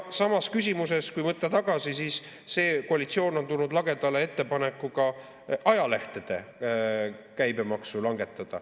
Samas küsimuses, kui võtta tagasi, on see koalitsioon tulnud lagedale ettepanekuga langetada ajalehtede käibemaksu.